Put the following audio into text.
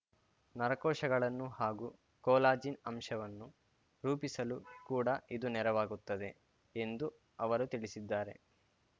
ನರಕೋಶಗಳನ್ನು ಹಾಗೂ ಕೋಲಾಜಿನ್ ಅಂಶವನ್ನು ರೂಪಿಸಲು ಕೂಡ ಇದು ನೆರವಾಗುತ್ತದೆ ಎಂದು ಅವರು ತಿಳಿಸಿದ್ದಾರೆ